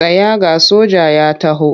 Tsaya ga soja ya taho!